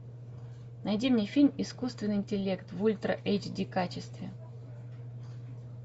найди мне фильм искусственный интеллект в ультра эйч ди качестве